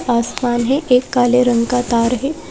आसमान है एक काले रंग का तार है।